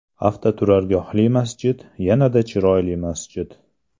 Avtoturargohli masjid yanada chiroyli masjid.